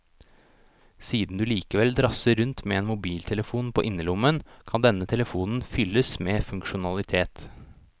Siden du likevel drasser rundt med en mobiltelefon på innerlommen, kan denne telefonen fylles med funksjonalitet.